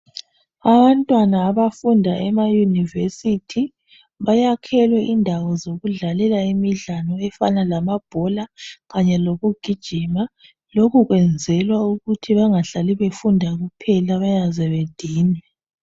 Abantwana abafunda emayunivesithi bayakhelwe indawo zokudlalela imidlalo efana lamabhola, kanye lokugijima lokhu kwenzelwa ukuthi bengahlali befunda kuphela bayaze bedinwe.